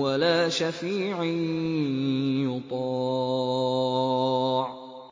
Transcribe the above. وَلَا شَفِيعٍ يُطَاعُ